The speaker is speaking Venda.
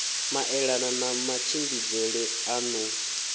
maelana na matshimbidzele a ḓo